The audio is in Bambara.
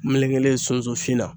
Melekelen sunsunfin na